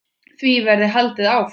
Því verði haldið áfram.